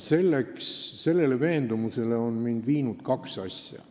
Sellele veendumusele on mind viinud kaks asja.